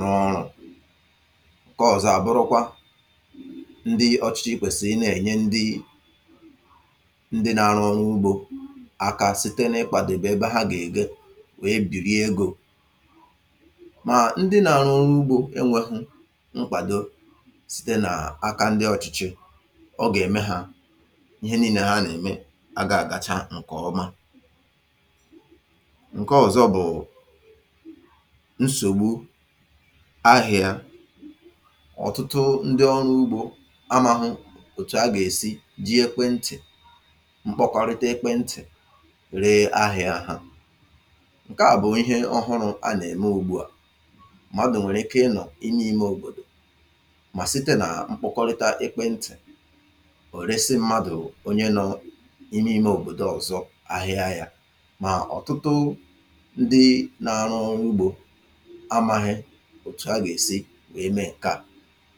rụọ ọrụ̇. Nkọọ̀zọ̀ àbụrụkwa, ndị ọchịchị i kwèsì i nà-ènye ndị ndị na-arụ ọ̀rụ̇ ugbȯ àkà site nà-ikwàdèbè ebe ha gà-èkwu wee bìri egȯ. Mà ndị nȧ rụọ n’ugbȯ e nwehu nkwàdo site nà aka ndị ọ̇chịchị, ọ gà ème hȧ ihe nii̇le nà ha nà ème agà àgacha ǹkè ọma. Ǹke ọ̀zọ bụ̀ nsògbu ahị̇ȧ. Ọ̀tụtụ ndị ọrụ ugbȯ amȧghụ òtù a gà èsi ji ekwentị̀ mkpọkọrịta ekwentị̀ ree ahịȧ ha. Ǹke à bụ̀ ihe ọhụrụ̇ a nà-ème ògbuà. Madụ̀ nwèrè ike ị nọ̀ inye imė òbòdò mà site nà mkpụkọrịta ekpeǹtị̀ ò resi mmadụ̀ onye nọ̇ inye imė òbòdò ọ̀zọ ahịa yȧ mà ọ̀tụtụ ndị na-arụ ọ̇ru ugbȯ amaghị òtù a gà-èsi wee mee ǹkeà.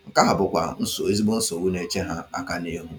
Ǹke à bụ̀kwà nsò ezigbo nsògbu nà-eche ha aka n’ihu!